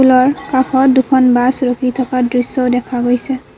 স্কুলৰ কাষত দুখন বাছ ৰখি থকা দৃশ্যও দেখা গৈছে।